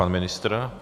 Pan ministr.